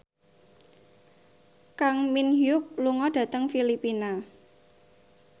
Kang Min Hyuk lunga dhateng Filipina